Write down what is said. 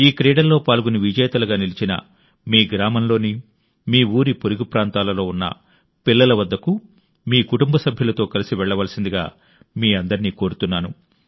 ఈ క్రీడల్లో పాల్గొని విజేతలుగా నిలిచిన మీ గ్రామంలోని మీ ఊరి పొరుగు ప్రాంతాలలో ఉన్న పిల్లల వద్దకు మీ కుటుంబ సభ్యులతో కలిసి వెళ్లవలసిందిగా మీ అందరినీ కోరుతున్నాను